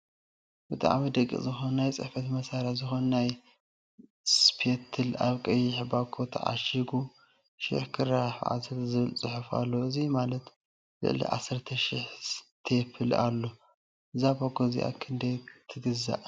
ብጣዕሚ ደቂቅ ዝኮነ ናይ ፅሕፈት መሳሪሒ ዝኮነ ናይ ስቴፕል ኣብ ቀይሕ ባኾ ታዓሺጋ 1000*10 ዝብል ፅሑፍ ኣለዎ እዚ ማለት ልዕሊ ዓሰርተሽሕ ስተፕል ኣሎ ። እዛ ባኮ እዚኣ ክንዳይ ትግዛእ?